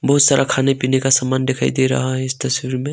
बहुत सारा खाने पीने का सामान दिखाई दे रहा है इस तस्वीर में।